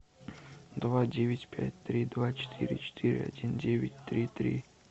два девять пять три два четыре четыре один девять три три